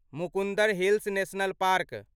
Mukundra hills national park